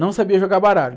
Não sabia jogar baralho.